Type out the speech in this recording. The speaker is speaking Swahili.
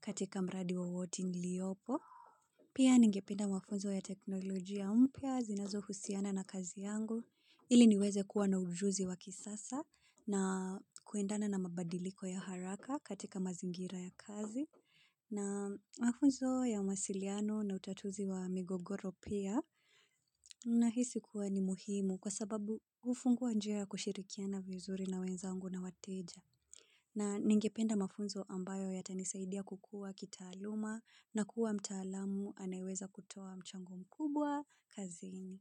katika mradi wa wote niliopo. Pia ningependa mafunzo ya teknolojia ya pia zinazohusiana na kazi yangu ili niweze kuwa na ujuzi wa kisasa na kuendana na mabadiliko ya haraka katika mazingira ya kazi na mafunzo ya masiliano na utatuzi wa migogoro pia nahisi kuwa ni muhimu kwa sababu hufungua njia ya kushirikiana vizuri na wenzangu na wateja. Na ningependa mafunzo ambayo yatanisaidia kukua kitaaluma na kuwa mtaalamu anayeweza kutoa mchango mkubwa kazini.